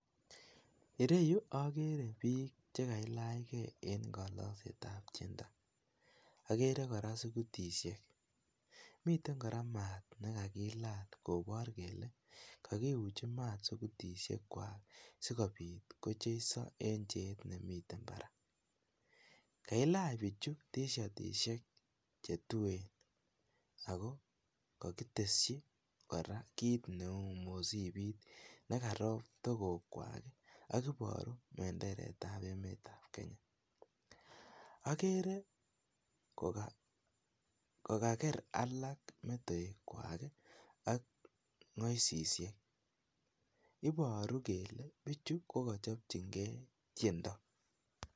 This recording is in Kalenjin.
Ireyuu okere bik chekailach gee en kolokset ab tyendo, okere Koraa sukulishek miten Koraa maat nekakilal kobor kele kokiuchin maat sukulishek kwak. Sikopit kocheiso en cheet nemiten barak. Kailach bichu tishatishek chetuen ako kokiteshi Koraa kit neu misipit nekarop tokok kwak akoboru menderet ab emet ab Kenya. Okere Kokaker alak metoek kwaki ak ngosishek iboru kele bichu kokochopchin gee tyendo.